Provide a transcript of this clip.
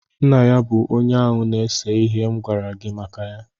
Nna ya bụ onye áhù na-èse ihe m gwara gị maka ya